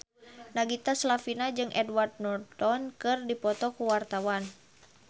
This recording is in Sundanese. Nagita Slavina jeung Edward Norton keur dipoto ku wartawan